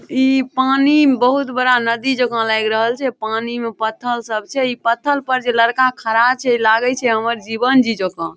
इ पानी मे बहुत बड़ा नदी जोखन लग रहल छै पानी में पत्थर सब छै इ पत्थर पर जे लड़का खड़ा छै लागे छै हमर जीवन जी जका ।